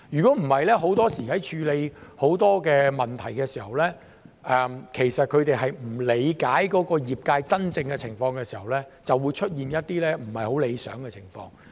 否則，很多時在處理很多問題的時候，如果他們並不理解業界真正的情況，就會出現一些不太理想的情況。